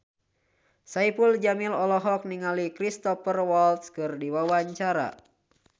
Saipul Jamil olohok ningali Cristhoper Waltz keur diwawancara